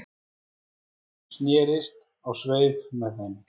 Hún snerist á sveif með þeim